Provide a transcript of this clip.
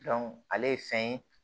ale ye fɛn ye